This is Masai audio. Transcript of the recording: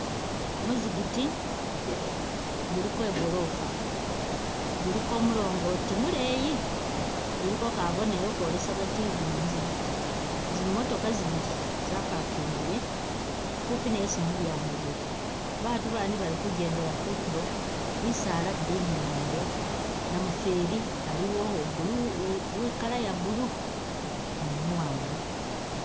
Ku muzikiti guliko i gorofa, guliko mulongoti muleeyi, guliko kabonero kakolesa kati guno muzikiti, zi motoka zibili za parkingile kupi ni esi mudyango guli, ba batu bandi bali kujendela kutulo, bisaala bili inyuma iyo, namufeeli aliwo uwe color iya blue ni umuwanga.